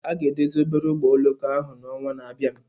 A ga-edozi obere ụgbọ oloko ahụ n'ọnwa na-abịa.